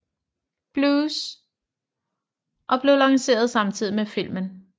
Blues og blev lanceret samtidig med filmen